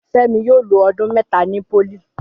Fẹ́mi yóò lo ọdún mẹ́ta ni pólì